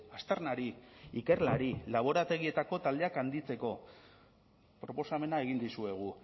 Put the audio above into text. aztarnari ikerlari laborategietako taldeak handitzeko proposamena egin dizuegu